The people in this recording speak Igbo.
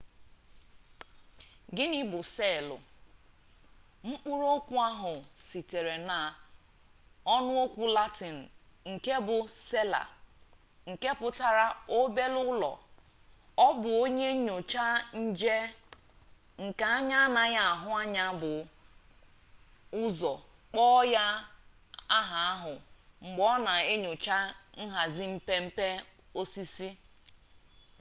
gịnị bụ seelụ mkpụrụ okwu ahụ sitere na ọnụokwu latịn nke bụ sela nke pụtara obere ụlọ ọ bụ onye nyocha nje nke anya anaghị ahụ anya bu ụzọ kpọọ ya aha ahụ mgbe ọ na enyocha nhazi mpe mpe osisi